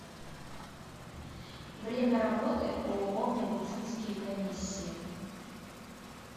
время работы ооо медицинские комиссии